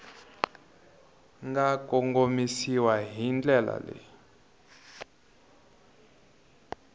nga komisiwa hi ndlela leyi